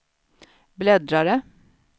bläddrare